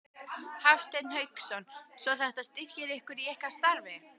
Hafsteinn Hauksson: Svo þetta styrkir ykkur í ykkar starfi?